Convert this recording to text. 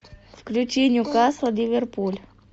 включи ньюкасл ливерпуль